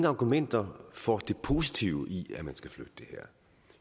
argumenter for det positive i at man skal flytte det her